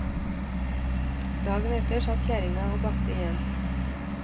Dagen etter satt kjerringa og bakte igjen.